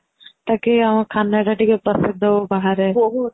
ଟାକୁ ଆମ ଖାନା ଟା ଟିକେ ପ୍ରସିଦ୍ଧ ହଉ ବାହାରେ